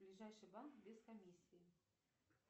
ближайший банк без комиссии